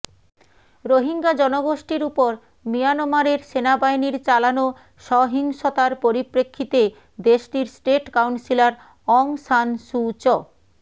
রোহিঙ্গা জনগোষ্ঠীর ওপর মিয়ানমারের সেনাবাহিনীর চালানো সহিংসতার পরিপ্রেক্ষিতে দেশটির state counsellor Aung San Suu চ